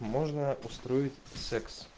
можно устроить секс